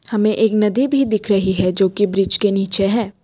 हमें एक नदी भी दिख रही है जो कि ब्रिज के नीचे है।